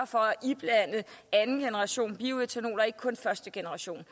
for at iblande andengenerationsbioætanol og ikke kun første generation